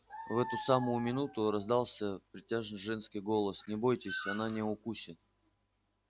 в эту самую минуту раздался притяжный женский голос не бойтесь она не укусит